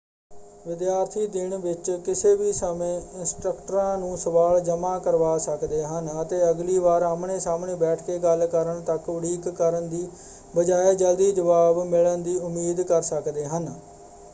ਵਿਦਿਆਰਥੀ ਦਿਨ ਵਿੱਚ ਕਿਸੇ ਵੀ ਸਮੇਂ ਇੰਸਟ੍ਰੱਕਟਰਾਂ ਨੂੰ ਸਵਾਲ ਜਮ੍ਹਾ ਕਰਵਾ ਸਕਦੇ ਹਨ ਅਤੇ ਅਗਲੀ ਵਾਰ ਆਹਮਣੇ-ਸਾਹਮਣੇ ਬੈਠ ਕੇ ਗੱਲ ਕਰਨ ਤੱਕ ਉਡੀਕ ਕਰਨ ਦੀ ਬਜਾਏ ਜਲਦੀ ਜਵਾਬ ਮਿਲਣ ਦੀ ਉਮੀਦ ਕਰ ਸਕਦੇ ਹਨ।